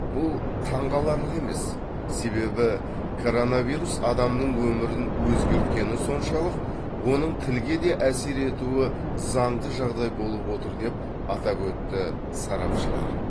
бұл таңқаларлық емес себебі коронавирус адамның өмірін өзгерткені соншалық оның тілге де әсер етуі заңды жағдай болып отыр деп атап өтті сарапшылар